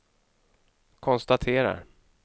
konstaterar